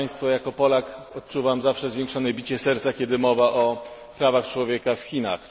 Jako Polak odczuwam zawsze zwiększone bicie serca, kiedy mowa o prawach człowieka w Chinach.